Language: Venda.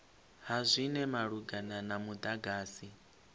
ha zwinwe malugana na mudagasi